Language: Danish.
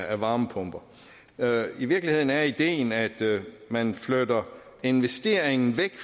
af varmepumper i virkeligheden er ideen at man flytter investeringen væk